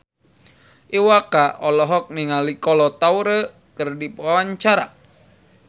Iwa K olohok ningali Kolo Taure keur diwawancara